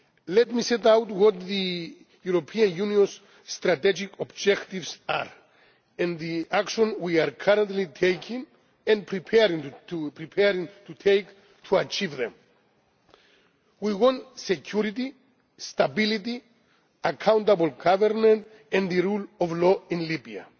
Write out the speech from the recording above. point. Let me set out what the European Union's strategic objectives are and the action we are currently taking and preparing to take to achieve them. We want security, stability, accountable government and the rule of law